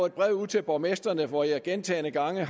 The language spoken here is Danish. et brev ud til borgmestrene hvor jeg gentagne gange